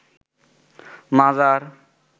মাজার